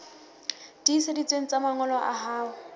tiiseditsweng tsa mangolo a hao